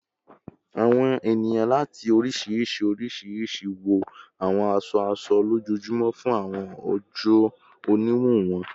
Awọn eniyan lati oriṣiriṣi oriṣiriṣi wọ awọn aṣọ-aṣọ lojoojumọ fun awọn oojọ oniwun wọn